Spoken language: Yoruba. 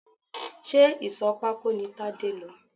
Ṣé ìsò pako ni Tade lọ?